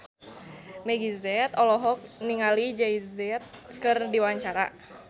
Meggie Z olohok ningali Jay Z keur diwawancara